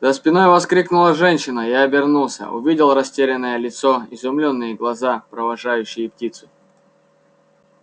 за спиной вскрикнула женщина я обернулся увидел растерянное лицо изумлённые глаза провожающие птицу